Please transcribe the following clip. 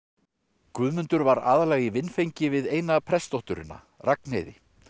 Guðmundur var aðallega í vinfengi við eina Ragnheiði